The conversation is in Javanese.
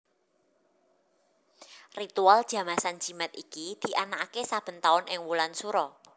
Ritual Jamasan Jimat iki dianakake saben taun ing wulan Sura